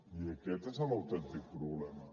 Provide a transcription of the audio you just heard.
i aquest és l’autèntic problema